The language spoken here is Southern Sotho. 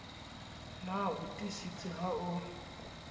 na o tiisitse ha o